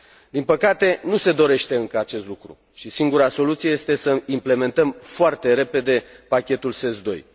Din păcate, nu se dorește încă acest lucru și singura soluție este să implementăm foarte repede pachetul SES II.